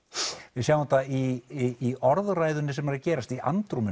við sjáum þetta í orðræðunni sem er að gerast í